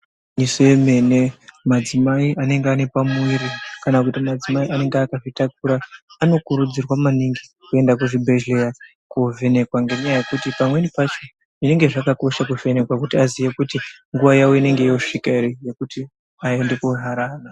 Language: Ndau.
Se yemene madzimai anenge ane pamuviri kana kuti madzimai anenge akazvitakura anokurudzirwa maningi kuenda kuzvibhedhlera kovhenekwa ngenyaya yekuti pamweni pacho zvinenge zvakakosha kuvhekwa kuti aziye kuti nguwa yawo inenge yosvika ere yekuti aende koharada.